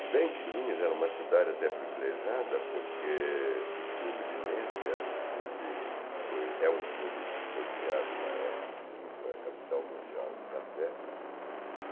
Se bem que Linz era uma cidade até privilegiada, porque o clube linense era um clube que foi é um clube que foi criado na época em que Linz foi a capital mundial do café.